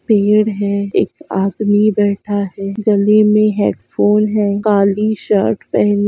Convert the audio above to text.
पेड़ है एक आदमी बेठा है गैल में हेड फ़ोन है कलि शर्ट पहना--